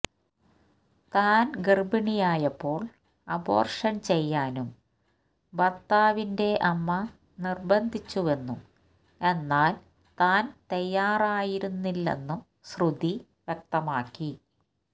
താൻ ഗർഭിണിയായപ്പോൾ അബോർഷൻ ചെയ്യാനും ഭർത്താവിന്റെ അമ്മ നിർബന്ധിച്ചുവെന്നും എന്നാൽ താൻ തയ്യാറായിരുന്നില്ലെന്നും ശ്രുതി വ്യക്തമാക്കി